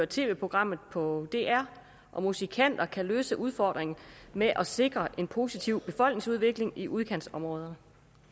tv programmet på dr og musikanter kan løse udfordringen med at sikre en positiv befolkningsudvikling i udkantsområderne